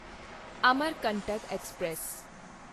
Amarkantak express